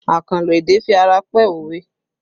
Akanlo èdè fi ara pẹ́ òwe